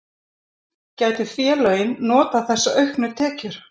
Gætu félögin notað þessa auknu tekjur?